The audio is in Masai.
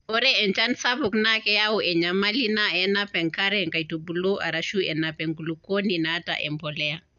Ore enchan sapuk naa keyau enyamali enaa enap enkare nkaitubulu arashu enap enkulukuoni naata empolea.